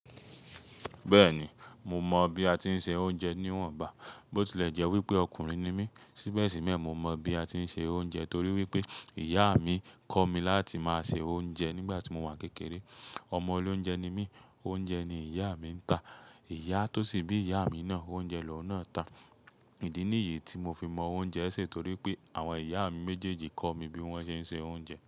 Bẹ́ẹ̀ni, mo mọ̀ bí a ti ń se oúnjẹ níwọ̀nba. Bó tile jé wípé ọkùnrin ni mí, síbẹ̀síbẹ̀ mo mọ bi a ti n ṣe ounjé torí wípé ìyá mi kọ mi láti máa se oúnjẹ nígbà tí mo wà kékeré. Ọmọ oloúnjẹ ni mí, oúnjẹ ni ìyá mi ń tà, ìyá tó sì bí ìyá mi náà, oúnjẹ lọ́un naa tà. Ìdí nìyí tí mo fi mọ oúnjẹ sè torí pé àwọn ìyá mi méjèèjì kọ́ mi bí wọ́n ṣe ń se oúnjẹ.